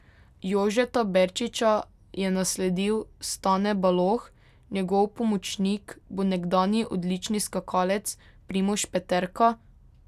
Jožeta Berčiča je nasledil Stane Baloh, njegov pomočnik bo nekdanji odlični skakalec Primož Peterka.